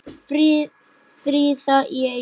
Fríða í Eyjum